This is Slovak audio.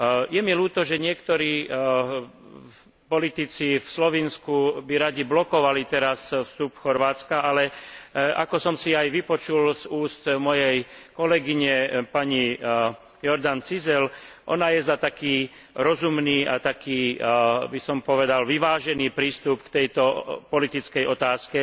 Je mi ľúto, že niektorí politici v Slovinsku by radi teraz blokovali pristúpenie Chorvátska, ale ako som si aj vypočul z úst mojej kolegyne pani Jordanovej Cizeljovej, ona je za taký rozumný a taký, by som povedal, vyvážený prístup k tejto politickej otázke.